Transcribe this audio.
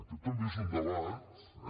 aquest també és un debat eh